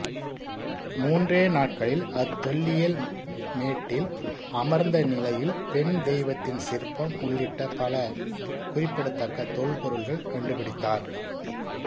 மூன்றே நாட்களில் அத்தொல்லியல் மேட்ட்டில் அமர்ந்த நிலையில் பெண் தெய்வத்தின் சிற்பம் உள்ளிட்ட பல குறிப்பிடத்தக்க தொல்பொருள்கள் கண்டுபிடித்தார்